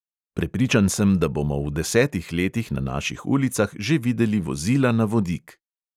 Prepričan sem, da bomo v desetih letih na naših ulicah že videli vozila na vodik.